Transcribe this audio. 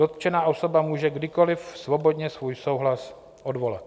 Dotčená osoba může kdykoli svobodně svůj souhlas odvolat.